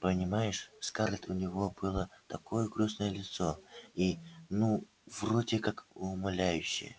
понимаешь скарлетт у него было такое грустное лицо и ну вроде как умоляющее